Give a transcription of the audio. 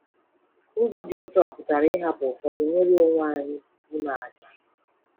Ụzọ dị otu a pụtara ịhapụ ụfọdụ nnwere onwe anyị, ime àjà.